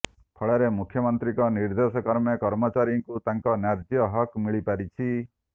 ଫଳରେ ମୁଖ୍ୟମନ୍ତ୍ରୀଙ୍କ ନିର୍ଦ୍ଦେଶ କ୍ରମେ କର୍ମଚାରୀଙ୍କୁ ତାଙ୍କ ନ୍ୟାଯ୍ୟ ହକ ମିଳିପାରିଛି